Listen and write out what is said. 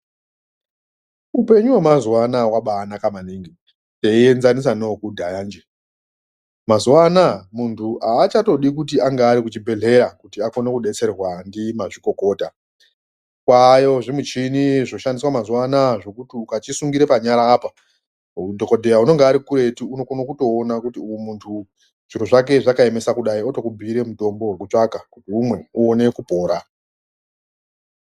Upenyu wemazuana wabanaka maningi teienzanisa newe kudhaya nje mazuvaano muntu achatodi kuti ange ari kuchibhehleya kuti akone kudetserwa ndimazvikokota kwanezvimichini zvoshandiswa mazuva ano zvekuti muntu akachisungira panyara apa dhokodheya ononga ari kuretu anokona kutoona kuti uyu muntu uyu zvakaemesa kudai unotokubuira mutombo wekutsvaka kuti umwe uwone kupora.